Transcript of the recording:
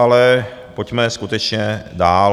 Ale pojďme skutečně dál.